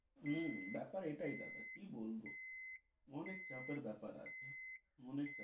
হম ব্যাপার এটাই দাদা। কি বলব অনেক টাকার বেপার আছে অনেক।